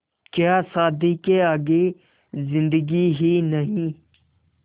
क्या शादी के आगे ज़िन्दगी ही नहीं